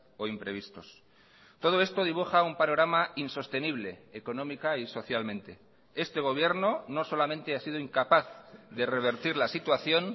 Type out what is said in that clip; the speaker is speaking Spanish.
o imprevistos todo esto dibuja un panorama insostenible económica y socialmente este gobierno no solamente ha sido incapaz de revertir la situación